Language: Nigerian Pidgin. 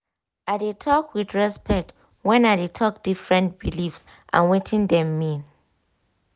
i de talk with respect when i de talk different believes and wetin dem mean